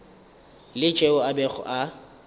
la tšeo a bego a